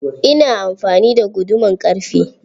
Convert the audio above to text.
Ina amfani da guduman ƙarfe.